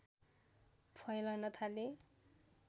फैलन थाले